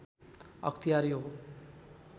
अख्तियार हो